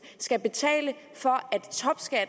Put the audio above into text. skal betale for